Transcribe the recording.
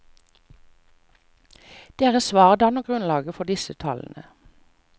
Deres svar danner grunnlaget for disse tallene.